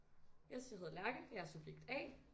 Yes jeg hedder Lærke og jeg er subjekt A